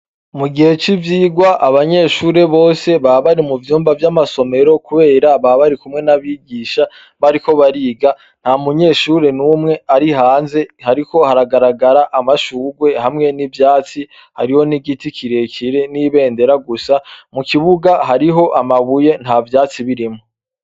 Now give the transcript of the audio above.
Mugihe civyirwa abanyeshure bose baba bari muvyumba vyamasomero kubera baba barikumwe nabigisha bariko bariga ntamunyeshure numwe ari hanze ariko aragarara amashurwe hamwe nivyatsi hariho nigiti kirekire nibendera gusa mukibuga hariho amabuye ntavyatsi biriho